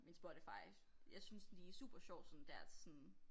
Min Spotify jeg synes de supersjovt sådan der til sådan